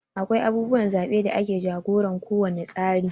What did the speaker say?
Akwai abubuwan zaɓe da ke jagoran ko wani tsari.